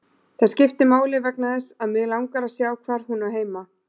Það skiptir máli vegna þess að mig langar að sjá hvar hún á heima.